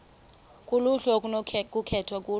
kuluhlu okunokukhethwa kulo